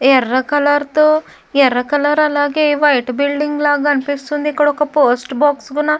ఎర్ర కలర్ తో ఎర్ర కలర్ అలాగే వైట్ బిల్డింగ్ లాగనిపిస్తుంది ఇక్కడొక పోస్ట్ బాక్స్ --